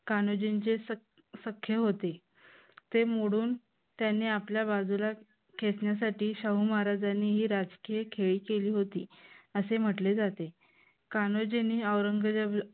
कान्होजींचे सखे होती. ते मोडून त्यांनी आपल्या बाजूला खेचण्यासाठी शाहू महाराजांनी हे राजकीय खेळी केली होती असे म्हटले जाते. कान्होजींनी औरंगजेब